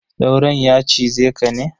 Sauron ya cize ka ne?